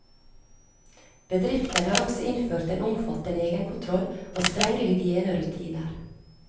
Bedriften har også innført en omfattende egenkontroll og strenge hygienerutiner.